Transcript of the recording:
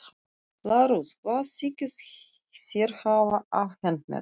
LÁRUS: Hvað þykist þér hafa afhent mér?